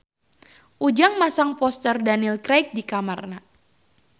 Ujang masang poster Daniel Craig di kamarna